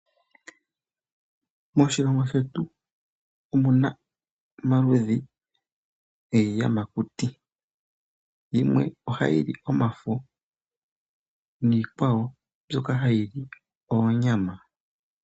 Moshilongo shetu omuna omaludhi giiyamakuti. Yimwe ohayi li omafo, niikwawo mbyoka hayi li oonyama.